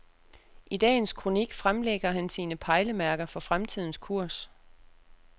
I dagens kronik fremlægger han sine pejlemærker for fremtidens kurs.